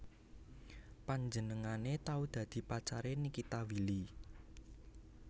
Panjenengane tau dadi pacare Nikita Willy